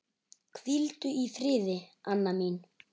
Hvíldu í friði, Anna mín.